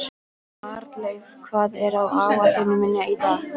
Arnleif, hvað er á áætluninni minni í dag?